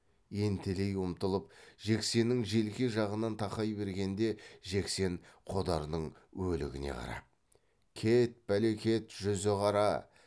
ентелей ұмтылып жексеннің желке жағынан тақай бергенде жексен қодардың өлігіне қарап кет бәлекет жүзі қара